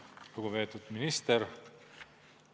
Lugupeetud minister!